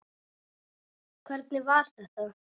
Hvernig var þetta?